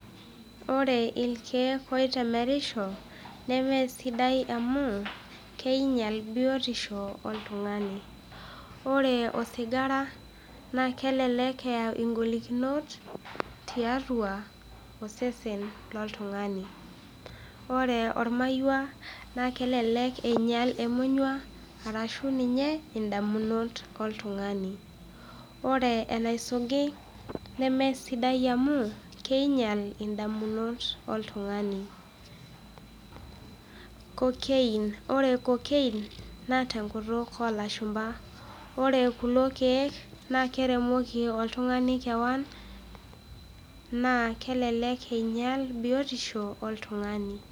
Ore ilkeek oitemerisho nemee sidai amuu keinyal biotisho. oree osigara naa kelek eyau ingolikinot tiatua osesen le ltungani, ore olmaiwa naa kelelek einyal emonyuaa arashu ninye indamunot oltungani. ore enaisugi nemeesidai amuu keinyal indamunot oltungani, cocaine, ore cocaine naa to nkutuk oolashumba, ore kulo keek naa keremoki oltungani keon naa kelelek einyal biotisho oltungani.